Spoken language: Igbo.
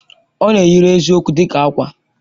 Ọ na-eyiri eziokwu dị ka ákwà.